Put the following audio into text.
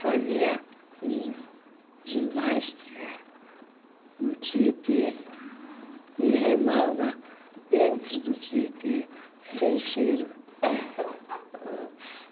Fazia gi ginástica no Tietê e remava dentro do Tietê, sem cheiro.